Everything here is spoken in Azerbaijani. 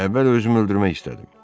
Əvvəl özümü öldürmək istədim.